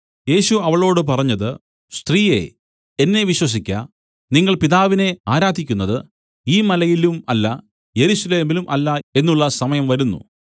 യേശു അവളോട് പറഞ്ഞത് സ്ത്രീയേ എന്നെ വിശ്വസിക്ക നിങ്ങൾ പിതാവിനെ ആരാധിക്കുന്നത് ഈ മലയിലും അല്ല യെരൂശലേമിലും അല്ല എന്നുള്ള സമയം വരുന്നു